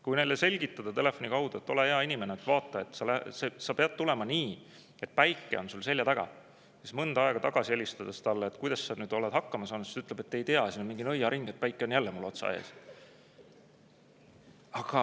Kui neile selgitada telefoni kaudu, et ole hea inimene, vaata, sa pead tulema nii, et päike on sul selja taga, siis mõni aeg hiljem talle tagasi helistades, kuidas ta nüüd on hakkama saanud, ta ütleb, et ei tea, siin on mingi nõiaring, päike on jälle mul otse ees.